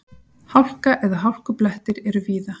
Hálka eða hálkublettir eru víða